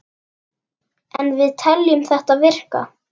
En við teljum þetta virka.